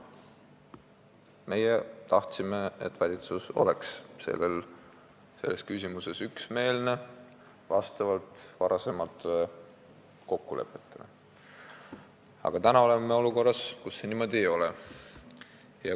Meie tahtsime, et valitsus oleks selles küsimuses üksmeelne vastavalt varasematele kokkulepetele, aga täna oleme olukorras, kus see niimoodi ei ole.